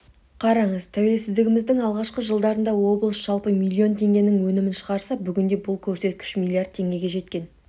қараңыз тәуелсіздігіміздің алғашқы жылдарында облыс жалпы млн теңгенің өнімін шығарса бүгінде бұл көрсеткіш млрд теңгеге жеткен